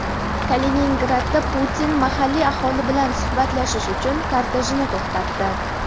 Kaliningradda Putin mahalliy aholi bilan suhbatlashish uchun kortejini to‘xtatdi.